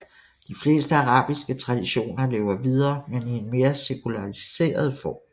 De fleste arabiske traditioner lever videre men i en mere sekulariseret form